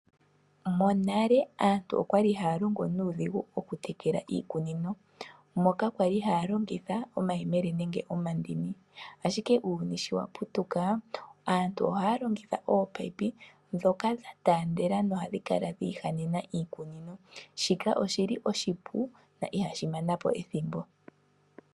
Monale aantu okwali haya longo nuudhigu mokutekela iikunino, moka kwali haya longitha omayemele nenge omandini. Ashike uuyuni sho wa putuka aantu ohaya longitha ominino dhoka dha taandela no hadhi kala dhiihanena iikunino. Shika oshi li oshipu na ihashi mana po ethimbo.